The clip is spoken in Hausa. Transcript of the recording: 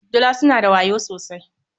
Dila suna da wayo sosai.